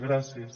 gràcies